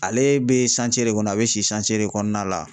Ale bɛ de kɔnɔ a bɛ de kɔnɔna la.